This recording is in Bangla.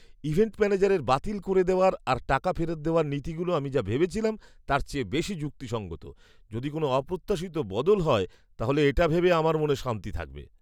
ইভেন্ট ম্যানেজারের বাতিল করে দেওয়ার আর টাকা ফেরত দেওয়ার নীতিগুলো আমি যা ভেবেছিলাম তার চেয়ে বেশি যুক্তিসঙ্গত। যদি কোনো অপ্রত্যাশিত বদল হয় তাহলে এটা ভেবে আমার মনে শান্তি থাকবে।